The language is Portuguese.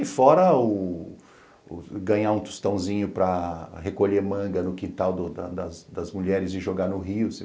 E fora ganhar um tostãozinho para recolher manga no quintal das mulheres e jogar no rio.